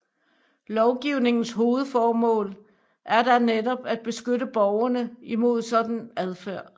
Lovgivningens hovedformål er da netop at beskytte borgerne imod en sådan adfærd